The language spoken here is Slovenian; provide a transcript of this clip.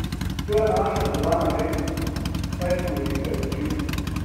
To je naša dodana vrednost, saj smo velika družina.